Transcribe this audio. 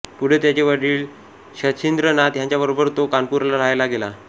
पुढे त्याचे वडील शचीन्द्रनाथ ह्यांच्याबरोबर तो कानपूरला राहायला गेला